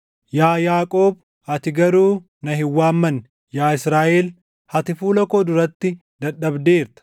“Yaa Yaaqoob, ati garuu na hin waammanne; yaa Israaʼel, ati fuula koo duratti dadhabdeerta.